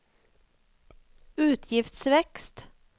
utgiftsvekst